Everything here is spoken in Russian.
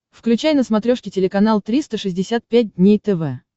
включай на смотрешке телеканал триста шестьдесят пять дней тв